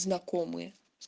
знакомые